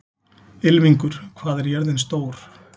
Ylfingur, hvað er jörðin stór?